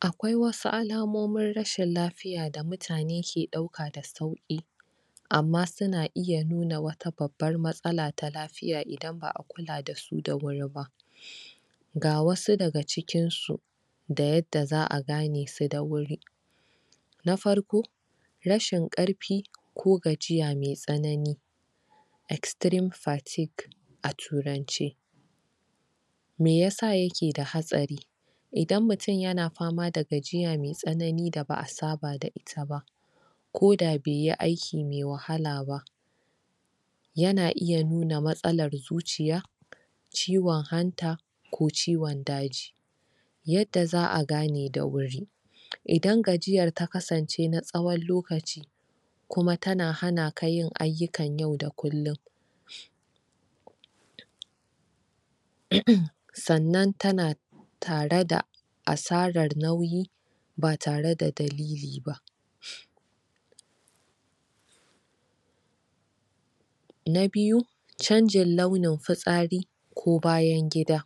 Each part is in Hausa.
Akwai wasu alamomin rashin lafiya da mutane ke ɗauka da sauƙi Amma suna iya nuna wata babbar matsala ta lafiya idan ba'a kula da su da wuri ba Ga wasu daga cikin su Da yadda za'a gane su da wuri Na farko Rashin ƙarfi ko gajiya mai tsanani Extreme fatigue a turanci Me yasa yake da hatsari Idan mutum yana pama da gajiya mai tsanani da ba'a saba da ita ba Ko da bai yi aiki mai wahala ba Yana iya nuna matsalar zuciya Ciwon hanta ko ciwon daji Yadda za'a gane da wuri Idan gajiyar ta kasance na tsawar lokaci Kuma ta na hana ka yin ayyukan yau da kulum Sannan tana tare da asarar nauyi ba tare da dalili ba Na biyu, chanjin launin fitsari ko bayan gida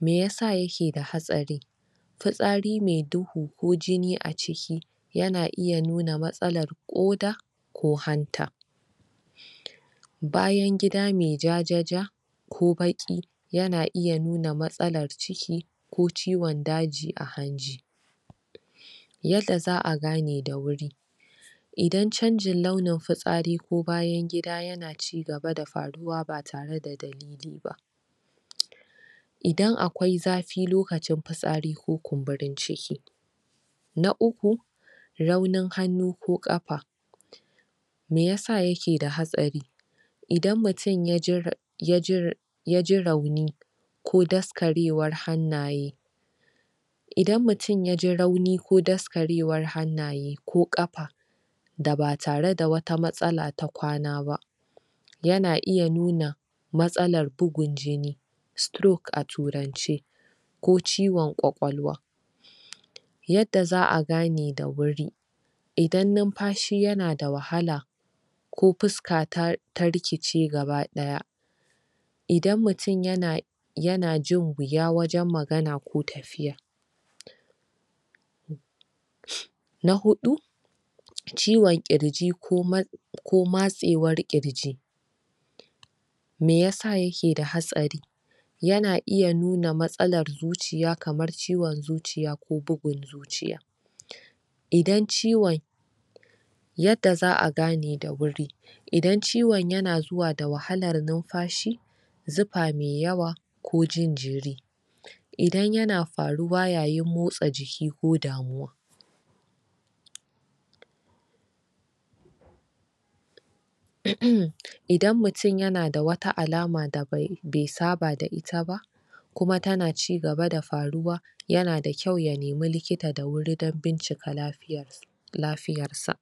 Me yasa yake da hatsari Fitsari mai duhu ko jini a ciki, yana iya nuna matsalar ƙoda ko hanta Bayan gida mai jajaja Ko baƙi, yana iya nuna matsalar ciki ko ciwon daji a hanji Yadda za'a gane da wuri Idan chanjin launin fitsari ko bayan gida yana cigaba da faruwa ba tare da dalili ba Idan akwai zafi lokacin fitsari ko kumburin ciki Na uku, raunin hannu ko ƙafa Me yasa yake da hatsari Idan mutum ya ji rauni ko Ko daskarewar hannaye Idan mutum ya ji rauni ko daskarewar hannaye ko ƙafa Da ba tare da wata matsala ta kwana ba Yana iya nuna matsalar bugun jini Stroke a turance Ko ciwon ƙwaƙwalwa Yadda za'a gane da wuri Idan numfashi yana da wahala Ko fuska ta rikice gabaɗaya Idan mutum yana...yana jin wuya wajen magana ko tafiya Na huɗu Ciwon ƙirji ko matsewar ƙirji Me ya sa ya ke da hatsari? Yana iya nuna matsalar zuciya kamar ciwon zuciya ko bugun zuciya Idan ciwon Yadda za'a gane da wuri Idan ciwon yana zuwa da wahalar numfashi Zufa mai yawa ko jin jiri Idan yana faruwa yayin motsa jiki ko damuwa Idan mutum yana da wata alama da bai saba da ita ba Kuma tana cigaba da faruwa Yana da kyau ya nimi likita da wuri don bincika lafiyar... Lafiyarsa.